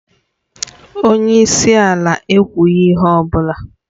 Onye isi ala ekwughị ihe ọ bụla